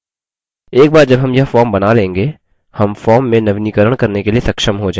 एक बार जब हम यह form बना लेंगे हम form में नवीनीकरण करने के लिए सक्षम हो जाएँगे